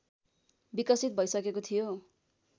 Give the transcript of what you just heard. विकसित भइसकेको थियो